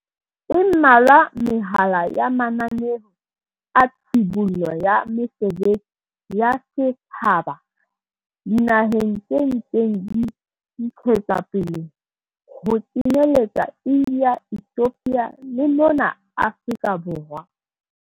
E mmalwa mehlala ya mananeo a tshibollo ya mesebetsi ya setjhaba dinaheng tse ntseng di ntshetswapele, ho kenyeletsa India, Ethiopia le mona Afrika Borwa.